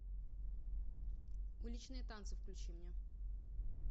уличные танцы включи мне